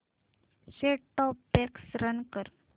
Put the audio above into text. set top box run कर